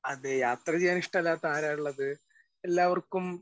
Speaker 1 അതെ. യാത്ര ചെയ്യാൻ ഇഷ്ടമില്ലാത്ത ആരാ ഉള്ളത്? എല്ലാവർക്കും